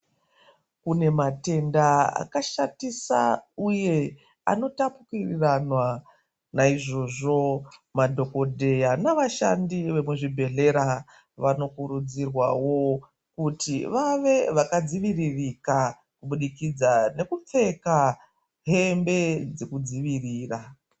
Kune matenda akashatisa uye anotapuriranwa naizvozvo madhogodheya navashandi vemuzvibhedhera vanokurudzirwawo kuti vave vakadziviririka kubudikidza nekupfeka hembe dzekudzivirira.